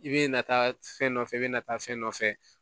I bɛ na taa fɛn nɔfɛ i bɛ na taa fɛn nɔfɛ